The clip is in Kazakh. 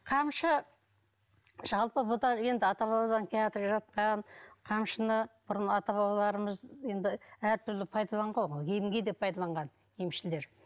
қамшы жалпы бұл да енді ата бабадан қамшыны бұрын ата бабаларымыз енді әртүрлі пайдаланған ғой емге де пайдаланған емшілер